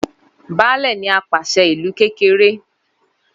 Baálẹ̀ ni apàṣẹ ìlú kékeré